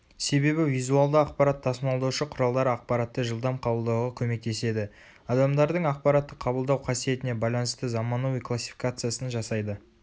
себебі визуалды ақпарат тасымалдаушы құралдар ақпаратты жылдам қабылдауға көмектеседі.адамдардың ақпаратты қабылдау қасиетіне байланысты заманауи классификациясын жасайды